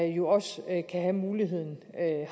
jo også have mulighed